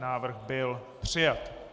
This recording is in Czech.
Návrh byl přijat.